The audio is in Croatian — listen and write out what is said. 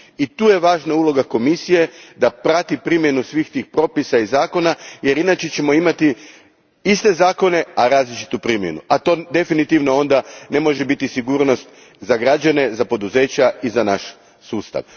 I tu je važna uloga Komisije da prati primjenu svih tih propisa i zakona jer inače ćemo imati iste zakone, a različitu primjenu, a to definitivno onda ne može biti sigurnost za građane, za poduzeća i za naš sustav.